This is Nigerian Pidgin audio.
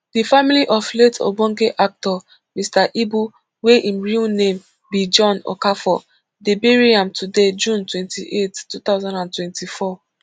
di family of late ogbonge actor mr ibu wey im real name be john okafor dey bury am today june twenty-eight two thousand and twenty-four